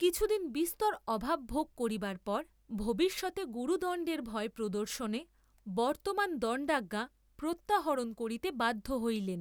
কিছুদিন বিস্তর অভাব ভোগ কবিবার পর, ভবিষ্যতে গুরুদণ্ডেব ভয় প্রদর্শনে বর্ত্তমান দণ্ডাজ্ঞা প্রত্যাহরণ করিতে বাধ্য হইলেন।